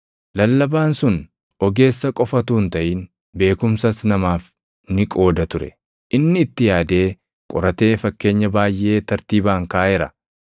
Lallabaan sun ogeessa qofa utuu hin taʼin beekumsas namaaf ni qooda ture. Inni itti yaadee, qoratee fakkeenya baayʼee tartiibaan kaaʼeera.